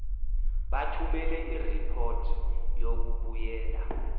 bathumele iripoti yokubuyela